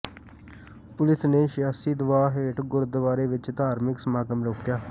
police ਨੇ ਸਿਆਸੀ ਦਬਾਅ ਹੇਠ ਗੁਰਦੁਆਰੇ ਵਿੱਚ ਧਾਰਮਿਕ ਸਮਾਗਮ ਰੋਕਿਆ